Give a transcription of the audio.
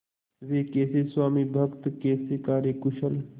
वे कैसे स्वामिभक्त कैसे कार्यकुशल